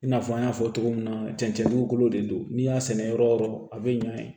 I n'a fɔ an y'a fɔ cogo min na cɛncɛn dugukolo de don n'i y'a sɛnɛ yɔrɔ o yɔrɔ a be ɲa yen